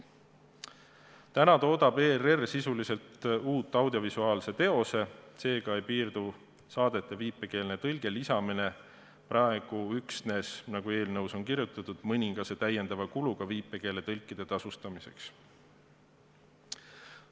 Täna toodab ERR sisuliselt uue audiovisuaalse teose, seega ei piirdu saadetele viipekeelse tõlke lisamine praegu üksnes, nagu eelnõus on kirjutatud, mõningase täiendava kuluga viipekeeletõlkide tasustamiseks.